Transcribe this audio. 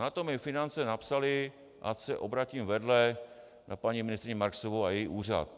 Na to mi finance napsaly, ať se obrátím vedle na paní ministryni Marksovou a její úřad.